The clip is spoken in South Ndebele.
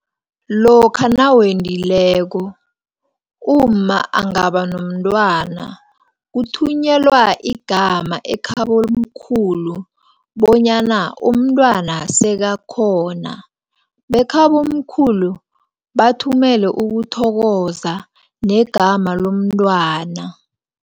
Lokha nawendileko, umma angabanomntwana, kuthunyelwa igama ekhabomkhulu, bonyana umntwana sekakhona bekhabomkhulu bathumele ukuthokoza, negama lomntwana.